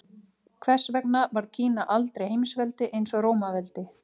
Hvers vegna varð Kína aldrei heimsveldi eins og Rómaveldi?